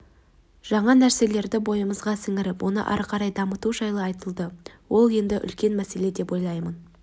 жаңа нәрселерді бойымызға сіңіріп оны ары дамыту жайы айтылды ол енді үлкен мәселе деп ойлаймын